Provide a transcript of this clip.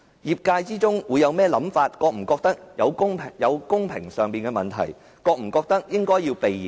業界會有甚麼想法，會否覺得有欠公平，他會否覺得應該避嫌？